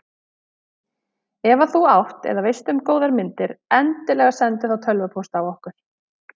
Ef að þú átt eða veist um góðar myndir endilega sendu þá tölvupóst á okkur.